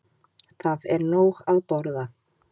Það er nóg að borða.